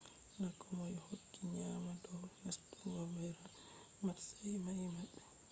na komoi hokki nyaamna dow nastungo ro’be matsayi mai ba